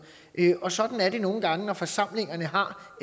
og sådan er det nogle gange når forsamlinger har